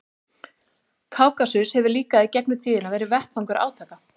Kákasus hefur líka í gegnum tíðina verið vettvangur átaka.